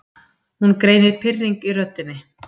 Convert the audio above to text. Hún greinir pirring í röddinni.